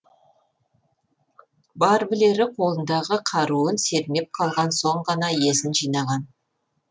бар білері қолындағы қаруын сермеп қалған соң ғана есін жинаған